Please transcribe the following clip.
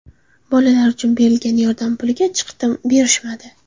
Bolalar uchun beriladigan yordam puliga chiqdim, berishmadi.